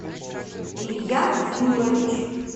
илья флюрович